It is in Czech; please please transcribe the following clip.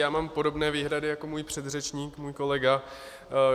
Já mám podobné výhrady jako můj předřečník, můj kolega.